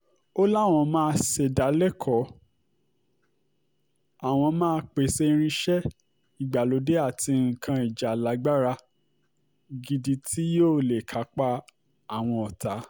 ó láwọn máa ṣèdálẹ́kọ̀ọ́ àwọn máa pèsè irinṣẹ́ ìgbàlódé àti nǹkan ìjà lágbára gidi tí yóò lè kápá àwọn ọ̀tá